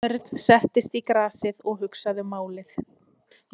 Örn settist í grasið og hugsaði málið.